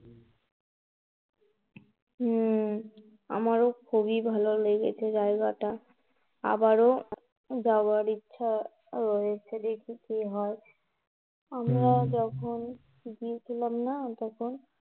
হম আমারো খুবই ভালো লেগেছে জায়গাটা. আবারো যাওয়ার ইচ্ছা রয়েছে দেখি কি হয়. আমরা যখন গিয়েছিলাম না তখন